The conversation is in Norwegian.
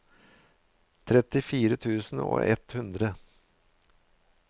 trettifire tusen og ett hundre